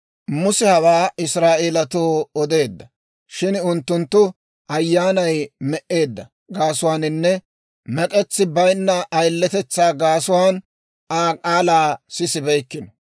Muse hawaa Israa'eeletoo odeedda; shin unttunttu ayaanay me"eedda gaasuwaaninne mek'etsi baynna ayiletetsaa gaasuwaan Aa k'aalaa sisibeykkino.